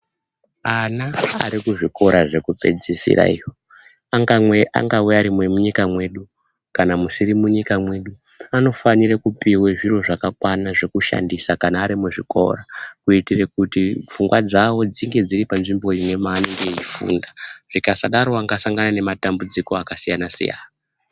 Ana arikuzvikora zvekupedzisira iyo angave ari emunyika mwedu kana musiri munyika mwedu. Anofanire kupihwe zvirozvakakwana zvokushandisa kana ari muzvikora. Kuitire kuti pfungwa dzavo dzinge dziri panzvombo imwe maanenge eifunda zvikasadaro anosangana nematambudziko akasiyana-siyana.